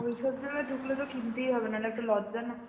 ওই সব জায়গায় ঢুকলে তো কিনতেই হবে না হলে একটা লজ্জা না.